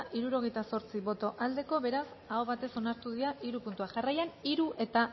hirurogeita zortzi boto aldekoa beraz aho batez onartu dira hiru puntuak jarraian hiru eta